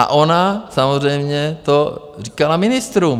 A ona samozřejmě to říkala ministrům.